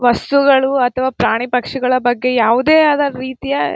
ವಸ್ತುಗಳು ಅಥವಾ ಪ್ರಾಣಿಪಕ್ಷಿಗಳ ಬಗ್ಗೆ ಯಾವುದೆ ಆದ ರೀತಿಯ.